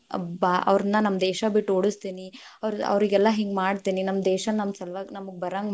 ಭಾ ಅವ್ರ್ನ ನಮ್ಮ ದೇಶಾ ಬಿಟ್ಟ ಓಡಸ್ತೀನಿ, ಅವ್ರ~ಅವ್ರಿಗೆಲ್ಲಾ ಹಿಂಗ್ ಮಾಡ್ತೀನಿ. ನಮ್ ದೇಶಾ ನಮ್ ಸಲುವಾಗಿ‌ ನಮಗ್‌ ಬರಂಗ್‌.